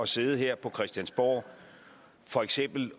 sidde her på christiansborg og for eksempel